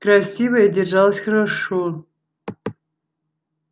красивая держалась хорошо